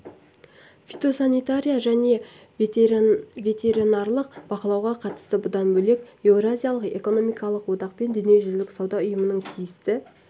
фитосанитария және ветеринарлық бақылауға қатысты бұдан бөлек еуразиялық экономикалық одақ пен дүниежүзілік сауда ұйымының тиісті